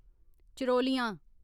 चरोलियां